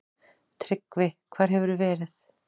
TRYGGVI: Hvar hefurðu verið?